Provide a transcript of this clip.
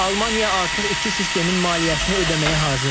Almaniya artıq iki sistemin maliyyəsini ödəməyə hazırdır.